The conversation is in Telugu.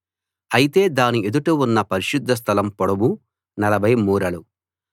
అయితే దాని ఎదుట ఉన్న పరిశుద్ధ స్థలం పొడవు 40 మూరలు